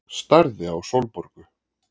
Starði á Sólborgu.